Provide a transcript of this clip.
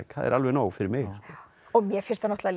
það er alveg nóg fyrir mig mér finnst náttúrulega